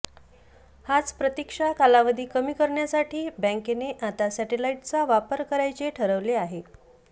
हाच प्रतीक्षा कालावधी कमी करण्यासाठी बँकेने आता सॅटेलाइटचा वापर करायचे ठरवले आहे